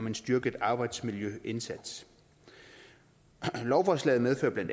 en styrket arbejdsmiljøindsats lovforslaget medfører bla